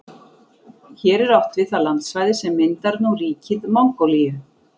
Hér er átt við það landsvæði sem myndar nú ríkið Mongólíu.